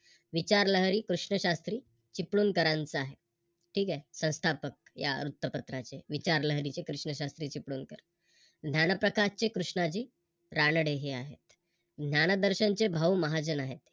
विचारलहरी कृष्ण शास्त्री चिपळूणकरांचं आहे ठीक आहे संस्थापक या वृत्तपत्राचे विचारलहरींचे कृष्ण शास्त्री चिपळूणकर. ज्ञानप्रकाश चे कृष्णाजी रानडे हे आहेत ज्ञानदर्शन चे भाऊ नारायण चंदावरकर,